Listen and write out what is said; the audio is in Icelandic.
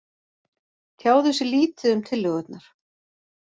Tjáðu sig lítið um tillögurnar